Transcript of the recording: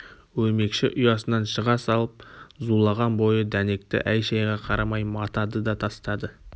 өрмекші ұясынан шыға салып зулаған бойы дәнекті әй-шайға қарамай матады да тастады